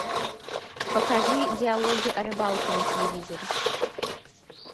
покажи диалоги о рыбалке на телевизоре